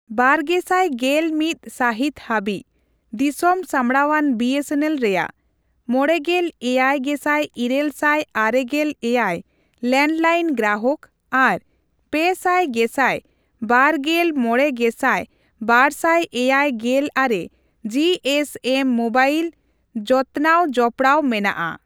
ᱵᱟᱨᱜᱮᱥᱟᱭ ᱜᱮᱞ ᱢᱤᱛ ᱥᱟᱹᱦᱤᱛ ᱦᱟᱹᱵᱤᱡ, ᱫᱤᱥᱚᱢ ᱥᱟᱢᱵᱲᱟᱣᱟᱱ ᱵᱤᱮᱥᱮᱱᱮᱞ ᱨᱮᱭᱟᱜ, ᱢᱚᱲᱮᱜᱮᱞ ᱮᱭᱟᱭ ᱜᱮᱥᱟᱭ ᱤᱨᱟᱹᱞ ᱥᱟᱭ ᱟᱨᱮᱜᱮᱞ ᱮᱭᱟᱭ ᱞᱮᱱᱰᱞᱟᱭᱤᱱ ᱜᱨᱟᱦᱚᱠ ᱟᱨ ᱯᱮ ᱥᱟᱭ ᱜᱮᱥᱟᱭ ᱵᱟᱨᱜᱮᱞᱢᱚᱲᱮᱜᱮᱥᱟᱭ ᱵᱟᱨᱥᱟᱭ ᱮᱭᱟᱭ ᱜᱮᱞ ᱟᱨᱮ ᱡᱤ ᱮᱥ ᱮᱢ ᱢᱚᱵᱟᱭᱤᱞ ᱡᱚᱛᱱᱟᱣ ᱡᱚᱯᱲᱟᱣ ᱢᱮᱱᱟᱜᱼᱟ᱾